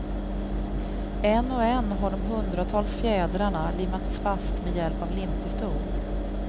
En och en har de hundratals fjädrarna limmats fast med hjälp av limpistol.